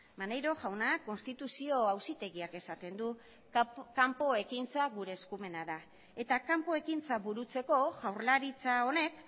maneiro jauna konstituzio auzitegiak esaten du kanpo ekintzak gure eskumena da eta kanpo ekintzak burutzeko jaurlaritza honek